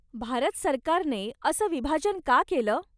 भारत सरकारने असं विभाजन का केलं ?